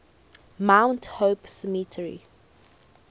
mount hope cemetery